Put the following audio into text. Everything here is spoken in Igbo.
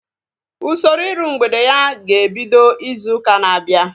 Usoro iru mgbede ya ga-ebido izu ụka na-abịa